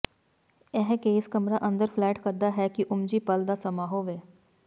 ਇਹ case camera ਅੰਦਰ flat ਕਰਦਾ ਹੈ ਕਿ ਓਮਜੀ ਪਲ ਦਾ ਸਮਾਂ ਹੋਵੇ